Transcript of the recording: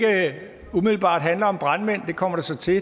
det kommer det så til